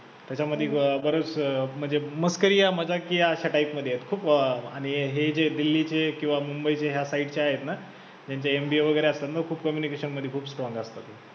त्याच्यामध्ये बरचं म्हणजे मस्करीया आणि मजाकीया अश्या type मध्ये आहे खूप अं आणि हे जे दिल्लीचे, मुंबईचे ह्या side चे आहेत ना त्यांचे MBA वैगरे त्यांना खूप communication मध्ये खूप strong असतात.